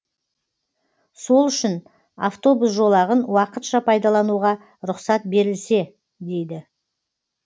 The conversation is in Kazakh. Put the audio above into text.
сол үшін автобус жолағын уақытша пайдалануға рұқсат берілсе дейді